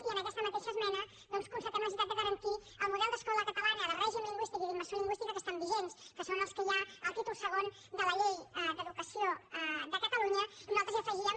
i en aquesta mateixa esmena doncs constatem la necessitat de garantir el model d’escola catalana de règim lingüístic i d’immersió lingüística que estan vigents que són els que hi ha al títol segon de la llei d’educació de catalunya i nosaltres hi afegíem